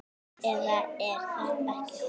Eða er það ekki hún?